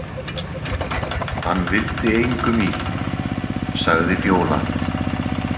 Hann vildi engum illt, sagði Fjóla.